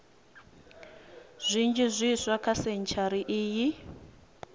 zwinzhi zwiswa kha sentshari iyi